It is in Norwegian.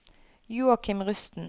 Joakim Rusten